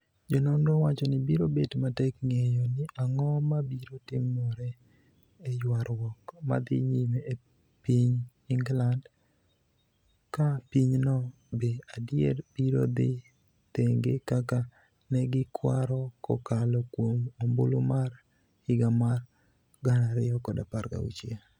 Jononro wacho ni biro bet matek ng'eyo ni ang'o mabiro timore e yuarwuok. madhi nyime e ping england. ka pinyno be adier biro dhi thenge kaka negikwaro kokalo kuom ombulu mar. higa mar 2016